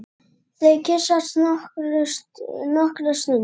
Þau kyssast nokkra stund.